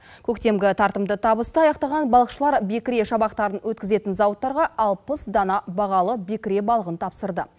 көктемгі тартымды табысты аяқтаған балықшылар бекіре шабақтарын өткізетін зауыттарға алпыс дана бағалы бекіре балығын тапсырды